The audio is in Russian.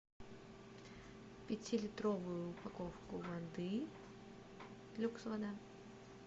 пятилитровую упаковку воды люкс вода